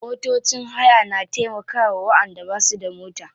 Motocin haya na taimkawa wayanda basu da mota.